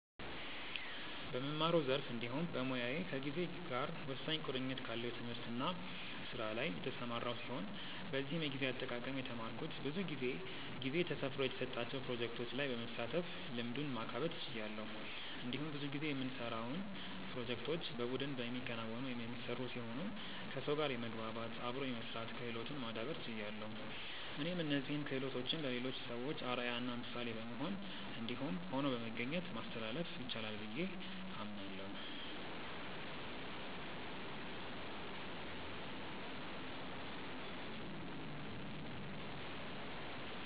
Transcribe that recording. በምማረው ዘርፍ እንዲሁም በሞያዬ ከጊዜ ጋር ወሳኝ ቁርኝት ካለው ትምህርት እና ስራ ላይ የተሰማራው ሲሆን በዚህም የጊዜ አጠቃቀም የተማረኩት ብዙ ጊዜ ጊዜ ተሰፍሮ የተሰጣቸው ፕሮጀክቶች ላይ በመሳተፍ ልምዱን ማካበት ችያለሁ። እንዲሁም ብዙ ጊዜ የምንሰራውን ፕሮጀክቶች በቡድን የሚከናወኑ/የሚሰሩ ሲሆኑ ከሰው ጋር የመግባባት/አብሮ የመስራት ክህሎትን ማዳብር ችያለሁ። እኔም እነዚህን ክሆሎቶችን ለሌሎች ሰዎች አርአያ እና ምሳሌ በመሆን እንዲሁም ሆኖ በመገኘት ማስተላለፍ ይቻላል ብዬ አምናለሁ።